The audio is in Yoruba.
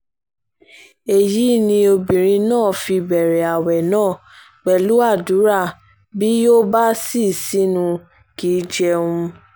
èyí ni obìnrin náà fi bẹ̀rẹ̀ ààwẹ̀ náà pẹ̀lú àdúrà bí yó bá ṣí sínú kì í jẹun